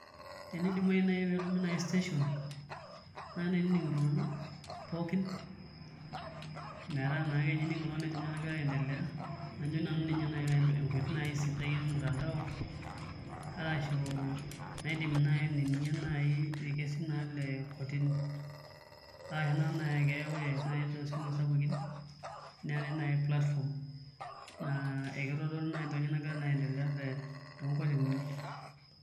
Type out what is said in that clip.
Tenidimayu naai netuumi station nainining' iltung'anak pookin metaa naa ining' ake oltung'ani entoki nagira aiendelea ore amu ina naai enkoitoi sidai ormutandao arashu naidimi naai ainining'ie irkesin naa lee kotini arashu ore naai ake too noshi sapukin naa keetai naake platforms naa ekitodolu naa ajo kanyioo nagira aiendelea naa te toonkotinini.